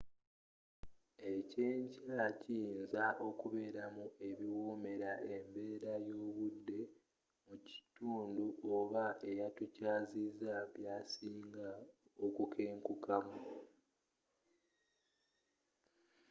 ekyenkya kiyinza okubeeramu ebiwoomera embeera y'obudde mu kitundu oba eyatukyazizza byasinga okukenkukamu